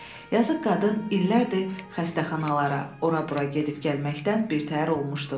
Yazıq qadın illərdir xəstəxanalara, ora bura gedib gəlməkdən birtəhər olmuşdu.